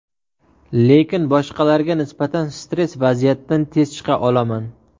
Lekin boshqalarga nisbatan stress vaziyatdan tez chiqa olaman.